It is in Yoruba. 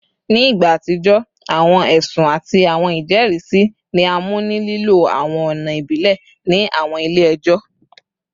Ni igba atijọ, awọn ẹsun ati awọn ijẹrisi ni a mu ni lilo awọn ọna ibile ni awọn ile-ẹjọ